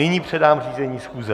Nyní předám řízení schůze.